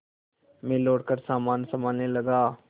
मैं लौटकर सामान सँभालने लगा